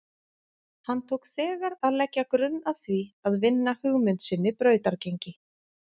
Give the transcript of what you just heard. Hann tók þegar að leggja grunn að því að vinna hugmynd sinni brautargengi.